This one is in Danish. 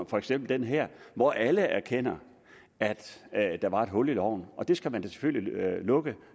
for eksempel den her hvor alle erkendte at der var et hul i loven det skal man selvfølgelig lukke